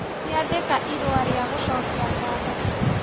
Nĩandĩka irũa rĩa gũcokia ngatho